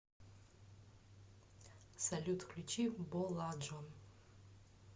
салют включи боладжон